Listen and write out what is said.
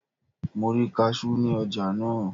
Mo rí kasú ní ọjà náà.